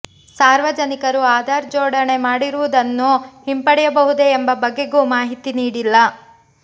ಸಾರ್ವಜನಿಕರು ಆಧಾರ್ ಜೋಡಣೆ ಮಾಡಿರುವುದನ್ನು ಹಿಂಪಡೆಯಬಹುದೇ ಎಂಬ ಬಗೆಗೂ ಮಾಹಿತಿ ನೀಡಿಲ್ಲ